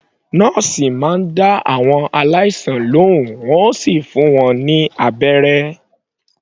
Nọ́ọ̀sì máa ń dá àwọn aláìsàn lohùn, wọn yóò sì fún wọn ní abẹ́rẹ́.